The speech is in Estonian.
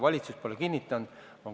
Valitsus pole seda kinnitanud.